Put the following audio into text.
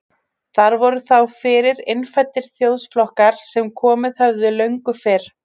Þar voru þá fyrir innfæddir þjóðflokkar sem komið höfðu löngu fyrr.